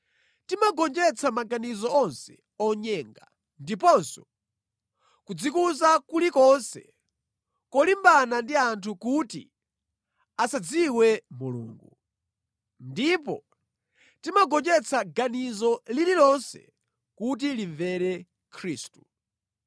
Timagonjetsa maganizo onse onyenga ndiponso kudzikuza kulikonse kolimbana ndi anthu kuti asadziwe Mulungu. Ndipo timagonjetsa ganizo lililonse kuti limvere Khristu.